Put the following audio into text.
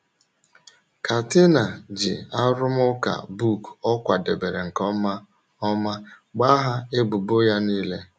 Katina ji arụmụka book ọ kwadebere nke ọma ọma gbaghaa ebubo ya nile.